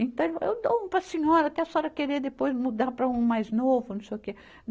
Então, ele falou, eu dou um para a senhora, até a senhora querer depois mudar para um mais novo, não sei o quê.